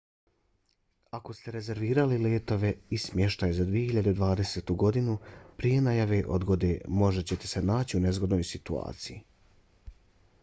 ako ste rezervirali letove i smještaj za 2020. godinu prije najave odgode možda ćete se naći u nezgodnoj situaciji